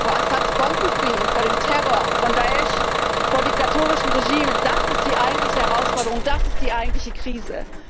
Menschen, die vor Assads Bomben fliehen, vor dem Terror von Da´isch, vor diktatorischen Regimen das ist die eigentliche Herausforderung, das ist die eigentliche Krise.